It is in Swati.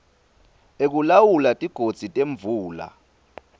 ekulawula tigodzi temvula